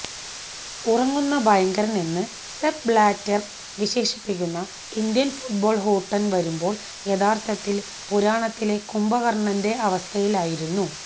ഉറങ്ങുന്ന ഭയങ്കരനെന്ന് Sepp Blatter വിശേഷിപ്പിക്കുന്ന ഇന്ത്യന് ഫുട്ബോള് ഹൂട്ടന് വരുമ്പോള് യഥാര്ഥത്തില് പുരാണത്തിലെ കുംഭകര്ണന്റെ അവസ്ഥയിലായിരുന്നു